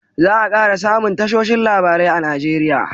za a kara samun tashoshin labarai a nigeria